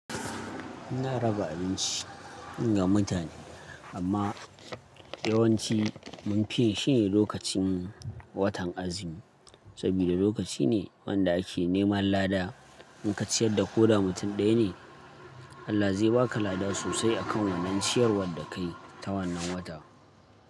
Ina raba abinci ga mutane, amma yawanci mun fi yin shi ne lokacin watan azumi, saboda lokaci ne wanda ake neman lada. Inka ciyar da ko da mutum ɗaya ne, Allah zai ba ka lada sosai a kan wannan ciyarwar da ka yi ta wannan watan.